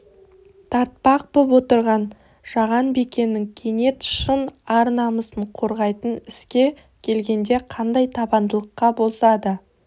тартпақ боп отырған жаған бикенің кенет шын ар-намысын қорғайтын іске келгенде қандай табандылыққа болса да